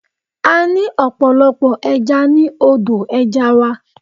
A ní ọ̀pọ̀lọpọ̀ ẹja ní odò ẹja wa.